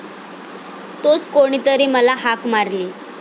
तोच कोणीतरी मला हाक मारली.